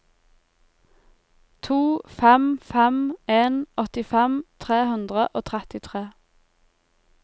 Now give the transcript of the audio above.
to fem fem en åttifem tre hundre og trettitre